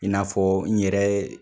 In'a fɔ n yɛrɛ